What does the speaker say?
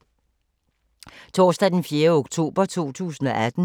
Torsdag d. 4. oktober 2018